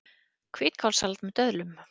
Hvítkálssalat með döðlum